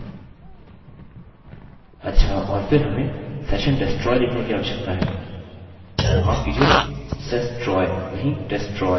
अच्छा और फिर हमें session destroy लिखने की आवश्यकता है माफ कीजिए sestroy नहीं destroy